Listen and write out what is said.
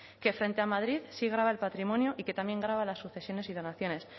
que frente a madrid sí grava el patrimonio y que también grava las sucesiones y donaciones